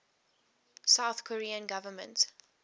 south korean government